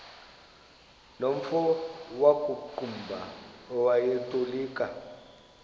nomfo wakuqumbu owayetolika